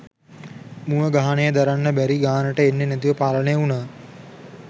මුව ගහනය දරන්න බැරි ගානට එන්නෙ නැතුව පාලනය උනා.